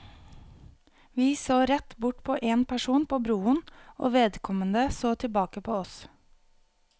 Vi så rett bort på en person på broen, og vedkommende så tilbake på oss.